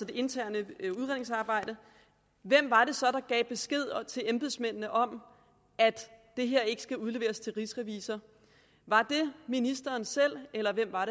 interne udredningsarbejde hvem var det så der gav besked til embedsmændene om at det her ikke skulle udleveres til rigsrevisor var det ministeren selv eller hvem var